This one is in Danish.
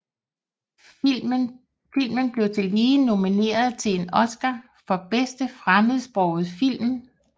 Filmen blev tillige nomineret til en Oscar for bedste fremmedsprogede film